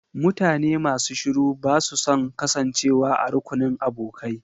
Mutane masu shiru ba su son kasancewa a rukunin abokai.